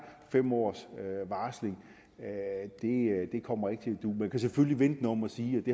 fem årsvarsling kommer ikke til at du man kan selvfølgelig vende det om og sige at det